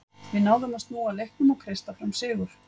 Við náðum að snúa leiknum og kreista fram sigur.